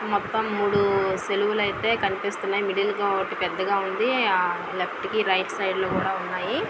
మొత్తం మూడు సిలువులు అయితే కనిపిస్తున్నాయి మిడిల్ ఒకటి పెద్దగా ఉంది లెఫ్ట్ కి రైట్ సైడ్ లో కూడా ఉన్నాయి.